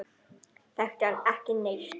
Þekkti hann ekki neitt.